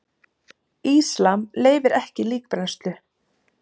Íslam leyfir ekki líkbrennslu.